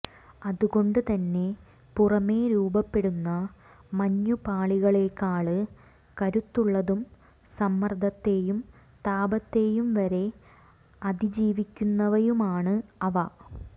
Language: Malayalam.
അതുകൊണ്ട് തന്നെ പുറമെ രൂപപ്പെടുന്ന മഞ്ഞുപാളികളേക്കാള് കരുത്തുള്ളതും സമ്മര്ദത്തെയും താപത്തെയും വരെ അതീജീവിക്കുന്നവയുമാണ് അവ